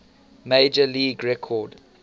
major league record